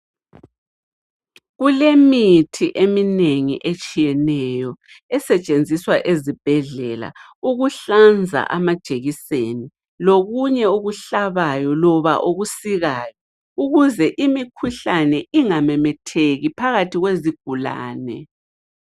Kulemithi eminengi etshiyeneyo esetshenziswa ezibhedlela ukuhlanza amajekiseni lokunye okuhlabayo loba okusikayo ukuze imikhuhlane ingamemetheki phakathi kwezigulane.